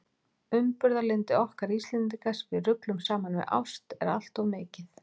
Umburðarlyndi okkar Íslendinga, sem við ruglum saman við ást, er allt of mikið.